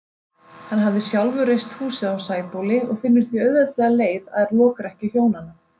Hann hafði sjálfur reist húsið á Sæbóli og finnur því auðveldlega leið að lokrekkju hjónanna.